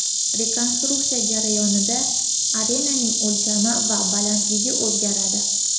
Rekonstruksiya jarayonida arenaning o‘lchami va balandligi o‘zgaradi.